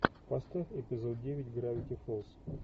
поставь эпизод девять гравити фолз